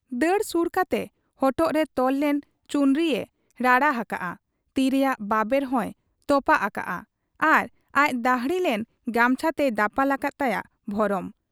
ᱫᱟᱹᱲ ᱥᱩᱨ ᱠᱟᱛᱮ ᱦᱚᱴᱚᱜᱨᱮ ᱛᱚᱞ ᱞᱮᱱ ᱪᱩᱱᱨᱤᱭᱮ ᱨᱟᱲᱟ ᱦᱟᱠᱟᱜ ᱟ, ᱛᱤ ᱨᱮᱭᱟᱜ ᱵᱟᱵᱮᱨ ᱦᱚᱸᱭ ᱛᱚᱯᱟᱜ ᱟᱠᱟᱜ ᱟ ᱟᱨ ᱟᱡ ᱫᱟᱹᱦᱲᱤ ᱞᱮᱱ ᱜᱟᱢᱪᱷᱟᱛᱮᱭ ᱫᱟᱯᱟᱞ ᱟᱠᱟᱫ ᱛᱟᱭᱟ ᱵᱷᱚᱨᱚᱢ ᱾